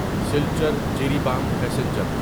Silchar Jiribam passenger